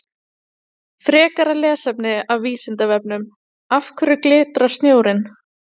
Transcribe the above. Frekara lesefni af Vísindavefnum: Af hverju glitrar snjórinn?